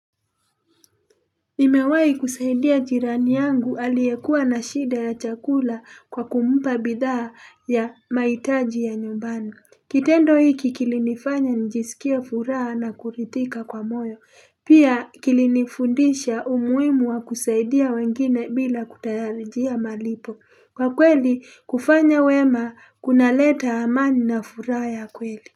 Nimewai kusaidia jirani yangu aliyekuwa na shida ya chakula kwa kumpa bidhaa ya maitaji ya nyumbani. Kitendo hiki kilinifanya njisikie furaha na kuridhika kwa moyo. Pia kilinifundisha umuimu wa kusaidia wengine bila kutayarijia malipo. Kwa kweli kufanya wema kunaleta amani na furaha ya kweli.